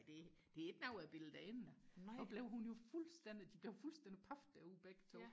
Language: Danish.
det det er ikke noget jeg bilder dig ind så blev hun jo fuldstændig de blev fuldstændig paf derude begge to